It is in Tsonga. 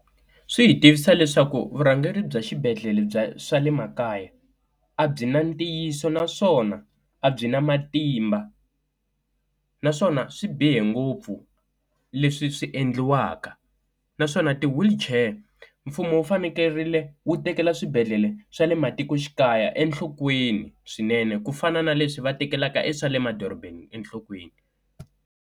Swi hi tivisa leswaku vurhangeri bya xibedhlele bya swa le makaya a byi na ntiyiso naswona a byi na matimba. naswona swi bihe ngopfu leswi swi endliwaka naswona ti-wheelchair mfumo wu fanekerile wu tekela swibedhlele swa le matikoxikaya enhlokweni swinene ku fana na leswi va tekelaka e swa le madorobeni enhlokweni.